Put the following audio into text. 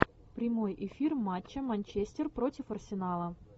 прямой эфир матча манчестер против арсенала